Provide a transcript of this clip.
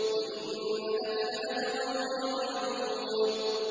وَإِنَّ لَكَ لَأَجْرًا غَيْرَ مَمْنُونٍ